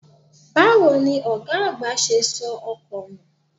Báwo ni ọ̀gá àgbà ṣe sọ ọkọ nù?